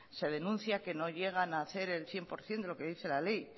se denuncia que no llegan a ser el cien por ciento de lo que dice la ley